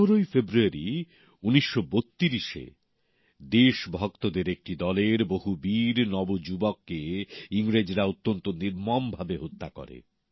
পনেরোই ফেব্রুয়ারী ১৯৩২ তে দেশভক্তদের একটি দলের বহু বীর নবযুবককে ইংরেজরা অত্যন্ত নির্মমভাবে হত্যা করে